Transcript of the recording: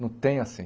Não tem assim.